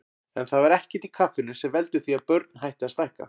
En það er ekkert í kaffinu sem veldur því að börn hætti að stækka.